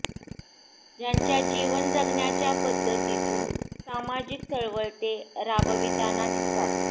ज्यांच्या जीवन जगण्याच्या पद्धतीतून सामाजिक चळवळ ते राबविताना दिसतात